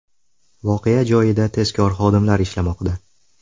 Voqea joyida tezkor xodimlar ishlamoqda.